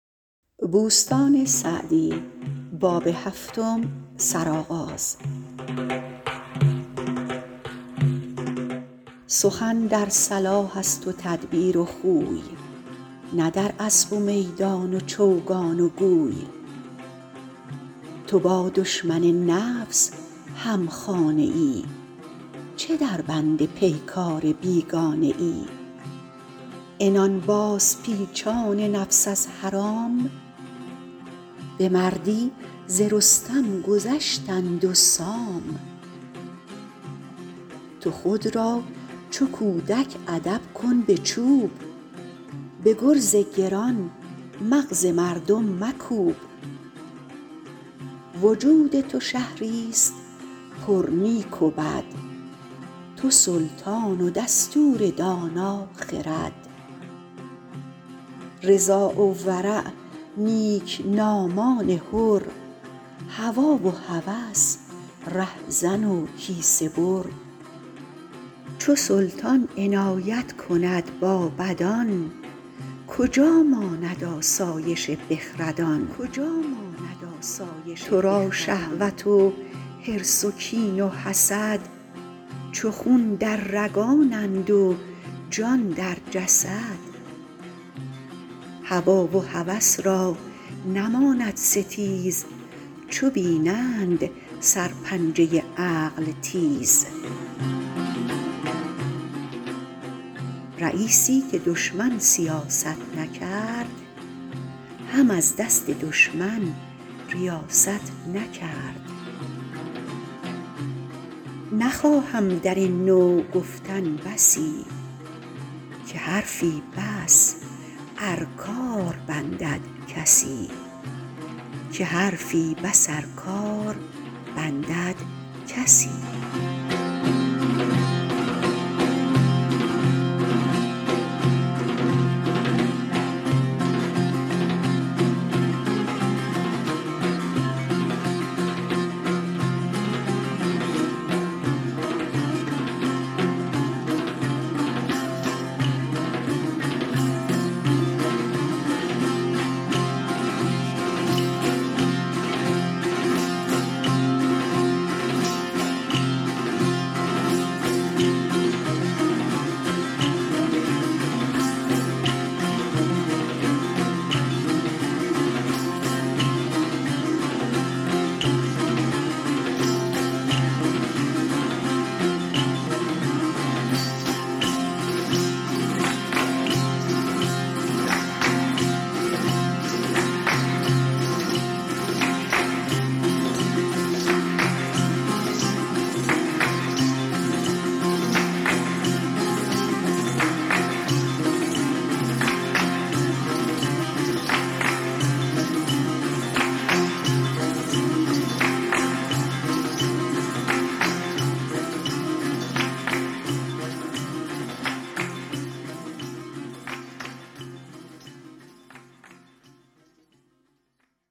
سخن در صلاح است و تدبیر و خوی نه در اسب و میدان و چوگان و گوی تو با دشمن نفس هم خانه ای چه در بند پیکار بیگانه ای عنان باز پیچان نفس از حرام به مردی ز رستم گذشتند و سام تو خود را چو کودک ادب کن به چوب به گرز گران مغز مردم مکوب وجود تو شهری است پر نیک و بد تو سلطان و دستور دانا خرد رضا و ورع نیکنامان حر هوی و هوس رهزن و کیسه بر چو سلطان عنایت کند با بدان کجا ماند آسایش بخردان تو را شهوت و حرص و کین و حسد چو خون در رگانند و جان در جسد هوی و هوس را نماند ستیز چو بینند سر پنجه عقل تیز رییسی که دشمن سیاست نکرد هم از دست دشمن ریاست نکرد نخواهم در این نوع گفتن بسی که حرفی بس ار کار بندد کسی